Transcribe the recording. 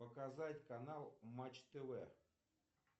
показать канал матч тв